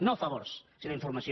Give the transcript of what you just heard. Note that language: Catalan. no favors si·nó informació